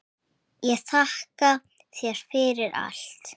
Ég þakka þér fyrir allt.